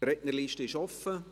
Die Rednerliste ist offen.